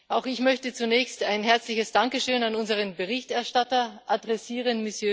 Auch ich möchte zunächst ein herzliches Dankeschön an unseren Berichterstatter adressieren.